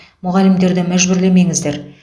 мұғалімдерді мәжбүрлемеңіздер